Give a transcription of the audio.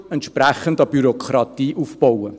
Man baut eine entsprechende Bürokratie auf.